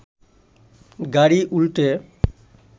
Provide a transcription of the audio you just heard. গাড়ি উল্টে